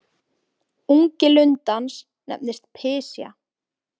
Ungi lundans nefnist pysja.